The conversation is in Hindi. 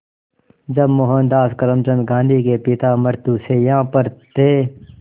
जब मोहनदास करमचंद गांधी के पिता मृत्युशैया पर थे